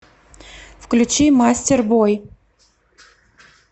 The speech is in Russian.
включи мастербой